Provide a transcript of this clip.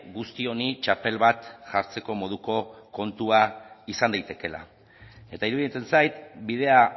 guzti honi txapel bat jartzeko moduko kontua izan daitekeela eta iruditzen zait bidea